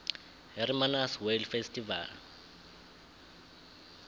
hermanus whale festival